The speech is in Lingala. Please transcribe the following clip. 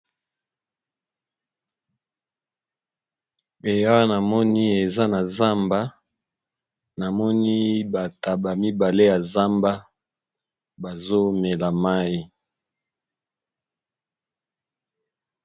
Be awa namoni eza na zamba, namoni ba ntaba mibale ya zamba bazo mela mayi.